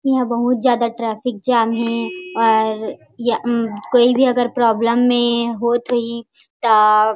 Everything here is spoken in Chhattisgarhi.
इहां बहुत ज्यादा ट्रैफिक जैम हे और या उम कोई भी अगर प्रॉब्लम में होत होही त--